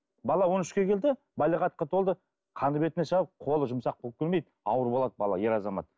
бала он үшке келді балиғатқа толды қаны бетіне шығып қолы жұмсақ болып келмейді ауыр болады бала ер азамат